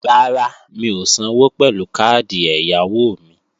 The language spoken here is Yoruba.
Rárá, mi ò sanwó pẹ̀lú káàdì ẹ̀yáwó mi